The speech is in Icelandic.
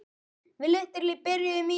Ljós góðs.